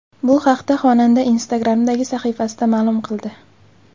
Bu haqda xonanda Instagram’dagi sahifasida ma’lum qildi .